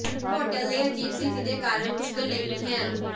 hotel ਦੇ ਅਜੀਬ ਸਥਿਤੀ ਦੇ ਕਾਰਨ ਮੁਸ਼ਕਲ ਨਹੀ ਹੈ